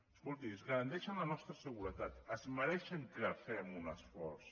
escolti ens garanteixen la nostra seguretat es mereixen que fem un esforç